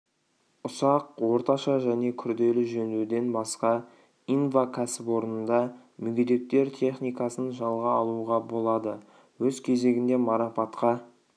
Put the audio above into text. ұсақ орташа және күрделі жөндеуден басқа инва кәсіпорнында мүгедектер техникасын жалға алуға болады өз кезегінде марапатқа